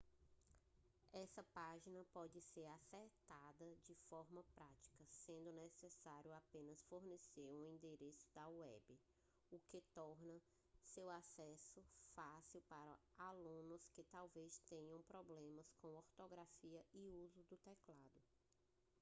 essa página pode ser acessada de forma prática sendo necessário apenas fornecer um endereço da web o que torna seu acesso fácil para alunos que talvez tenham problemas com ortografia ou uso do teclado